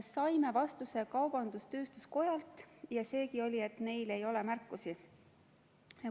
Saime vastuse kaubandus-tööstuskojalt ja seegi oli, et neil ei ole märkusi.